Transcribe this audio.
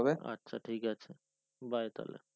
আচ্ছা ঠিক আছে bye তালে।